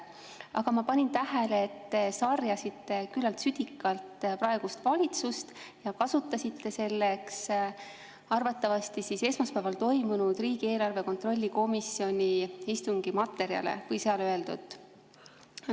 Aga ma panin tähele, et te sarjasite küllalt südikalt praegust valitsust ja kasutasite selleks arvatavasti esmaspäeval toimunud riigieelarve kontrolli erikomisjoni istungi materjale või seal öeldut.